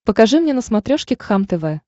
покажи мне на смотрешке кхлм тв